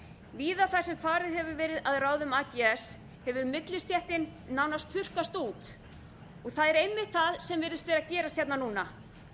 víða þar sem farið hefur verið að ráðum ags hefur millistéttin nánast þurrkast út það er einmitt það sem virðist ver að gerast hérna núna